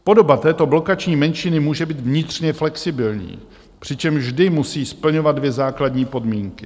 Podoba této blokační menšiny může být vnitřně flexibilní, přičemž vždy musí splňovat dvě základní podmínky.